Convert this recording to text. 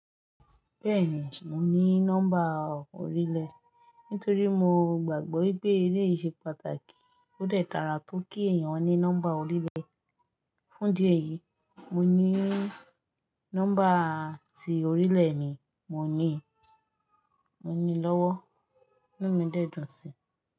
Bẹ́ẹ̀ni, mo ní nọ́mbà orílẹ̀, nítorí mo gbàgbọ́ pé eléyìí ṣe pàtàkì. Ó dẹ̀ dára tó kí èèyàn ní nọ́mbà orílẹ̀. Fún ìdí èyí, mo ní nọ́mbà tí orílẹ̀ mi, mo ní, mo nílọ́wọ́. Inú mi dẹ̀ dùn sí i.